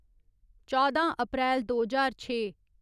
चौदां अप्रैल दो ज्हार छे